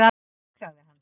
Já, sagði hann.